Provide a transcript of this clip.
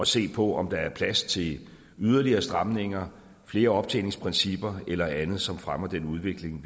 se på om der er plads til yderligere stramninger flere optjeningsprincipper eller andet som fremmer den udvikling